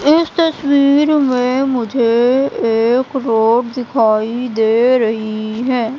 इस तस्वीर में मुझे एक रोड दिखाई दे रही हैं।